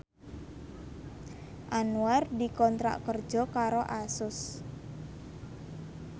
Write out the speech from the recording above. Anwar dikontrak kerja karo Asus